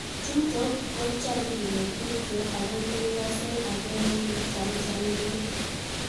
Chutok ko cham kilen tupcho ak ole ikasei ak ole ichamchamndoi